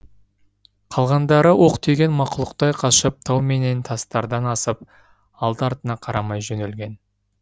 қалғандары оқ тиген мақұлықтай қашып тау менен тастардан асып алды артына қарамай жөнелген